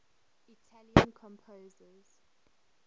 italian composers